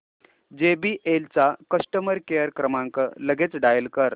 JBL चा customer care क्रमांक लगेच डायल कर